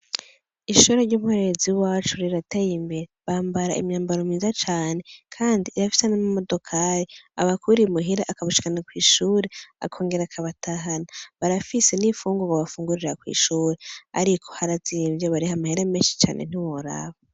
Ishuri ry'umuhererezi w'iwacu rirateye imbere. Bambara imyambaro myiza cane kandi rirafise n'amamodokari abakura i muhira ikabashikana kw'ishure, akongera akabatahana. Barafise n'infungurwa bafungurira kw'ishure. Ariko harazimye, bariha amahera menshi ntiworaba.